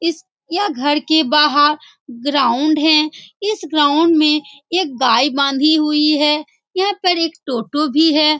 इस यह घर के बाहर ग्राउंड है इस ग्राउंड में एक गाय बांधी हुई है यहाँ पर एक टोटो भी है।